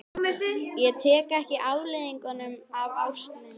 Ég tók ekki afleiðingum af ást minni.